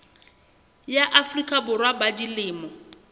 ya afrika borwa ba dilemo